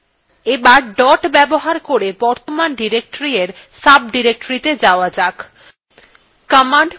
এবার dot ব্যবহার করে বর্তমান directoryএর সাবdirectoryত়ে যাওয়া যাক